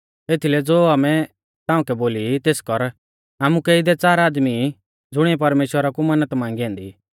एथीलै ज़ो आमै ताउंकै बोली ई तेस कर आमुकै इदै च़ार आदमी ई ज़ुणिऐ परमेश्‍वरा कु मन्नत मांगी ऐन्दी